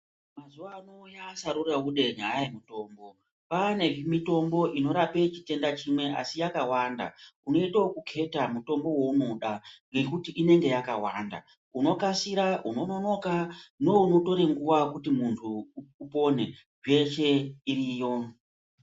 Mazuwa ano yaa saruraude nyaya yemutombo. Kwaane mitombo inorape chitenda chimwe asi yakawanda, unoite okukheta mutombo weunoda ngekuti inenge yakawanda. Unokasira, unononoka, neunotore nguwa kuti muntu upone, zveshe iriyo.